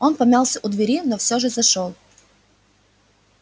он помялся у двери но всё же зашёл